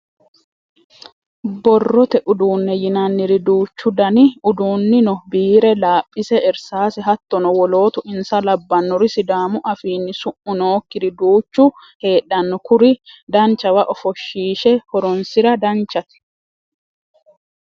Borrote uduune yinanniri duuchu dani uduuni no biire, laphise, irsase hattono wolootu insa labbanori sidaamu afiini su'mu nookkiri duuchu heedhano kuri danchawa ofoshishe horonsira danchate.